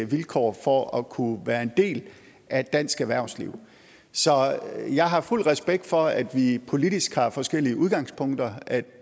vilkår for at kunne være en del af dansk erhvervsliv så jeg har fuld respekt for at vi politisk har forskellige udgangspunkter at